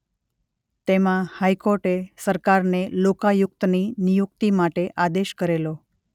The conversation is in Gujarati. તેમાં હાઈકોર્ટે સરકારને લોકાયુક્તની નિયુક્તિ માટે આદેશ કરેલો.